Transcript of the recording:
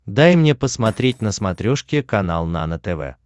дай мне посмотреть на смотрешке канал нано тв